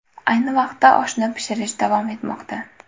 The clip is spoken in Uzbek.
Ayni vaqtda oshni pishirish davom etmoqda.